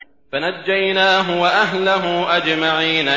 فَنَجَّيْنَاهُ وَأَهْلَهُ أَجْمَعِينَ